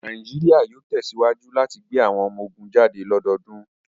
Nàìjíríà yóò tesiwaju lati gbe àwọn ọmọ ogun jade lọdọdun